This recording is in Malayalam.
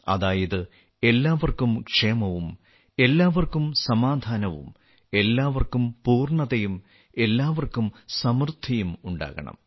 അതായത് എല്ലാവർക്കും ക്ഷേമവും എല്ലാവർക്കും സമാധാനവും എല്ലാവർക്കും പൂർണതയും എല്ലാവർക്കും സമൃദ്ധിയും ഉണ്ടാകണം